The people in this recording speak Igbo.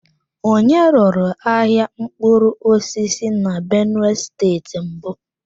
Onye ruru ahịa mkpụrụ osisi na benue steeti mbụ?